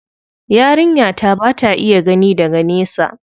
Yarinya ta ba ta iya gani daga nesa.